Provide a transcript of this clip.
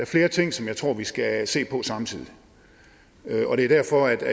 flere ting som jeg tror vi skal se på samtidig det er derfor